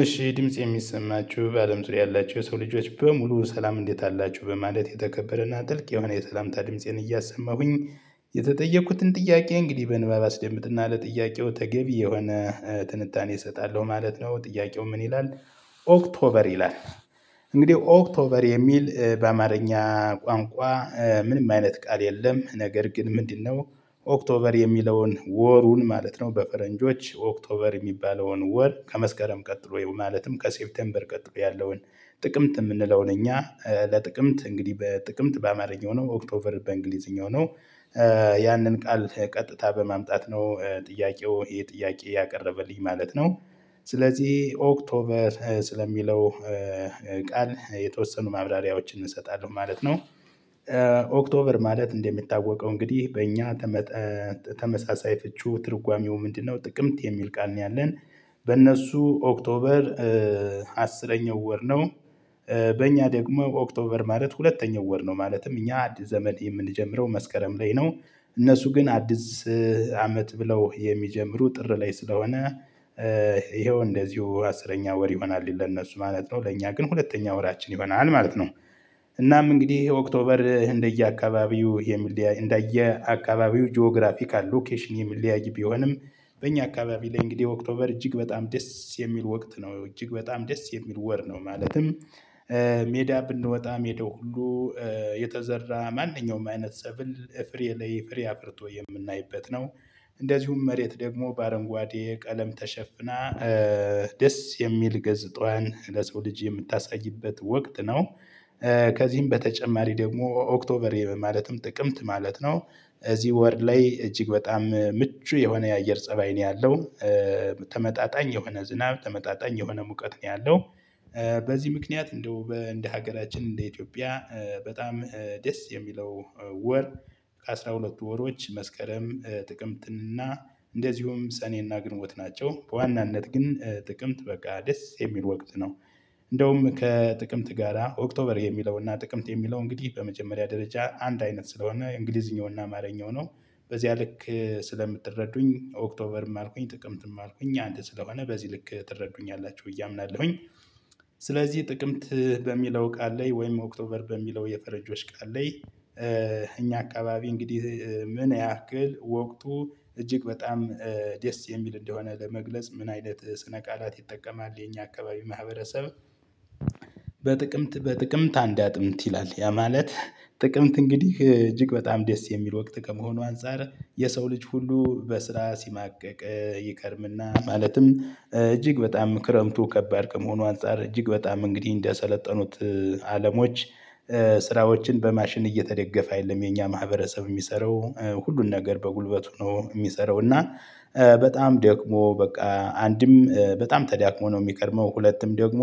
እሺ ድምፄ የሚሰማችሁ በአለም ዙሪያ ያላቸው የሰው ልጆች በሙሉ ሰላም እንዴት አላችሁ በማለት የተከበረና ጥልቅ የሆነ የሰላምታ ድምፄን እያሰማሁኝ። የተጠየኩትን ጥያቄ እንግዲህ በንባብ አስደምጥና ለጥያቄው ተገቢ የሆነ ትንታኔ እሰጣለሁ ማለት ነው ጥያቄው ምን ይላል? ኦክቶበር ይላል እንግዲህ ኦክቶበር የሚል በአማርኛ ቋንቋ ምንም አይነት ቃል የለም። ነገር ግን ምንድነው? ኦክቶበር የሚለውን ወሩን ማለት ነው በፈረንጆች ኦክቶበር የሚባለውን ወር ከመስከረም ቀጥሎ ማለትም ከሴፕቴምበር ቀጥበው ያለውን ጥቅምት የምንለውን እኛ ለጥቅምት እንግዲህ በጥቅምት በአማርኛው ነው ኦክቶበር በእንግሊዝኛው ነው። ያንን ቃል ቀጥታ በማምጣት ነው ጥያቄው ይሄ ጥያቄ ያቀረበልኝ ማለት ነው። ስለዚህ ኦክቶበር ስለሚለው ቃል የተወሰኑ ማብራሪያዎችን እንሰጣለን ማለት ነው። ኦክቶበር ማለት እንደሚታወቀው እንግዲህ በእኛ ተመጣ ተመሳሳይ ፍቺው ትርጓሜው ምንድነው ጥቅምት የሚል ቃል ነው። ያለን በእነሱ ኦክቶበር አስረኛው ወር ነው። በእኛ ደግሞ ኦክቶበር ማለት ሁለተኛው ወር ነው ማለትም አዲስ ዘመን የምንጀምረው መስከረም ላይ ነው። እነሱ ግን አዲስ አመት ብለው የሚጀምሩ ጥር ላይ ስለሆነ። ይኸው እንደዚሁ አስረኛ ወር ይሆናል ለነሱ ማለት ነው ለእኛ ግን ሁለተኛ ወራችን ይሆናል ማለት ነው። እናም እንግዲህ ኦክቶበር እንደየ አካባቢው የሚለያይ እንደየ አካባቢው ጂኦግራፊካል ሎኬሽን የሚለያይ ቢሆንም በእኛ አካባቢ ላይ እንግዲህ ኦክቶበር እጅግ በጣም ደስ የሚል ወቅት ነው። እጅግ በጣም ደስ የሚል ወር ነው ማለትም ሜዳ ብንወጣ ሜዳው ሁሉ የተዘራ ማንኛውም አይነት ሰብል ፍሬ ላይ ፍሬ አብርቶ የምናይበት ነው። እንደዚሁም መሬት ደግሞ በአረንጓዴ ቀለም ተሸፍና ደስ የሚል ገጽታዋን ለሰው ልጅ የምታሳይበት ወቅት ነው። ከዚህም በተጨማሪ ደግሞ ኦክቶበር ማለትም ጥቅምት ማለት ነው። እዚህ ወር ላይ እጅግ በጣም ምቹ የሆነ የአየር ፀባይ ነው ያለው። ተመጣጣኝ የሆነ ዝናብ ተመጣጣኝ የሆነ ሙቀት ነው ያለው። በዚህ ምክንያት እንደው እንደ ሀገራችን እንደ ኢትዮጵያ በጣም ደስ የሚለው ወር ከአሥራ ሁለት ወሮች መስከረም ጥቅምትን እና እንደዚሁም ሰኔና ግንቦት ናቸው በዋናነት ግን ጥቅምት በቃ ደስ የሚል ወቅት ነው። እንደውም ከጥቅምት ጋራ ኦክቶበር የሚለውና ጥቅምት የሚለው እንግዲህ በመጀመሪያ ደረጃ አንድ አይነት ስለሆነ እንግሊዝኛውና አማርኛው ነው። በዚያ ልክ ስለምትረዱኝ ኦክቶበርም አልኩኝ ጥቅምትም አልኩኝ አንድ ስለሆነ በዚህ ልክ ትረዱኛላችሁ ብዬ አምናለሁኝ። ስለዚህ ጥቅምት በሚለው ቃል ላይ ወይም ኦክቶበር በሚለው የፈረንጆች ቃል ላይ እኛ አካባቢ እንግዲህ ምን ያህል ወቅቱ እጅግ በጣም ደስ የሚል እንደሆነ ለመግለጽ ምን አይነት ስነ ቃላት ይጠቀማል። የኛ አካባቢ ማህበረሰብ በጥቅምት አንድ አጥንት ይላል ያ ማለት ጥቅምት እንግዲህ እጅግ በጣም ደስ የሚል ወቅት ከመሆኑ አንፃር የሰው ልጅ ሁሉ በስራ ሲማቀቅ ይከርምና ማለትም እጅግ በጣም ክረምቱ ከባድ ከመሆኑ አንፃር እጅግ በጣም እንግዲህ እንደሰለጠኑት። አለሞች ስራዎችን በማሽን እየተደገፈ የለም። የኛ ማህበረሰብ የሚሰራው ሁሉን ነገር በጉልበቱ ሆኖ የሚሰራው እና በጣም ደክሞ በቃ አንድም በጣም ተዳክሞ ነው የሚከርመው። ሁለቱም ደግሞ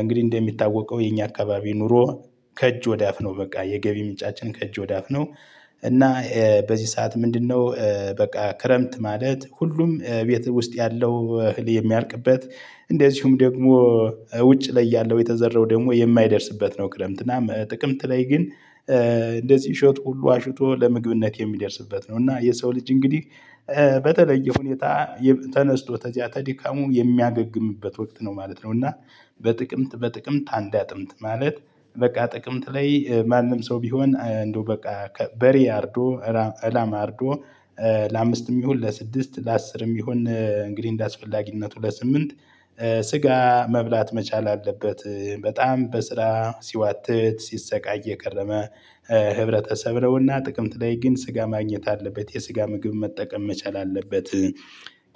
እንግዲህ እንደሚታወቀው የኛ አካባቢ ኑሮ ከእጅ ወዳፍ ነው በቃ የገቢ ምንጫችን ከእጅ ወዳፍ ነው። እና በዚህ ሰዓት ምንድነው? በቃ ክረምት ማለት ሁሉም እቤት ውስጥ ያለው እህል የሚያልቅበት እንደዚሁም ደግሞ ውጭ ላይ ያለው የተዘረው ደግሞ የማይደርስበት ነው። ክረምት እና ጥቅምት ላይ ግን እንደዚህ እሸት ሁሉ አሽቶ ለምግብነት የሚደርስበት ነው። እና የሰው ልጅ እንግዲህ በተለየ ሁኔታ ተነስቶ ተዚያ ተድካሙ የሚያገግምበት ወቅት ነው ማለት ነው። እና በጥቅምት በጥቅምት አንድ አጥምት ማለት በቃ ጥቅምት ላይ ማንም ሰው ቢሆን እንደው በቃ በሬ አርዶ እላማ አርዶ ለአምስትም ይሁን ለስድስት ለአስርም ይሁን እንግዲህ እንደአስፈላጊነቱ ለስምንት ስጋ መብላት መቻል አለበት በጣም በስራ ሲዋትት ሲሰቃይ የቀረመ ህብረተሰብ ነውና ጥቅምት ላይ ግን ስጋ ማግኘት አለበት የስጋ ምግብ መጠቀም መቻል አለበት።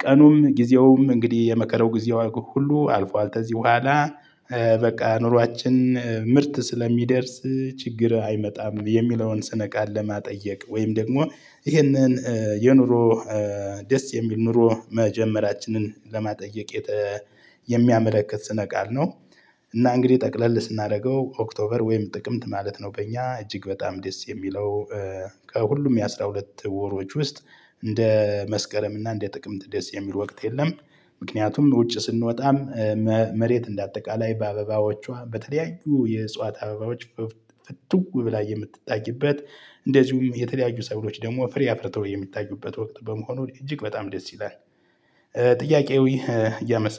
ቀኑም ጊዜውም እንግዲህ የመከራው ጊዜው ሁሉ አልፏል። ከዚህ በኋላ በቃ ኑሯችን ምርት ስለሚደርስ ችግር አይመጣም። የሚለውን ስነ ቃል ለማጠየቅ ወይም ደግሞ ይህንን የኑሮ ደስ የሚል ኑሮ መጀመራችንን ለማጠየቅ የሚያመለክት ስነ ቃል ነው። እና እንግዲህ ጠቅለል ስናደርገው ኦክቶበር ወይም ጥቅምት ማለት ነው። በእኛ እጅግ በጣም ደስ የሚለው ከሁሉም የአሥራ ሁለት ወሮች ውስጥ እንደ መስከረም እና እንደ ጥቅምት ደስ የሚል ወቅት የለም። ምክንያቱም ውጭ ስንወጣም መሬት እንደ አጠቃላይ በአበባዎቿ በተለያዩ የእጽዋት አበባዎች ፍንትው ብላ የምትታይበት እንደዚሁም የተለያዩ ሰዎች ደግሞ ፍሪ አፍርተው የሚታዩበት ወቅት በመሆኑ እጅግ በጣም ደስ ይላል። ጥያቄው እያመሰ